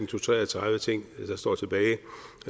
til tre og tredive ting der står tilbage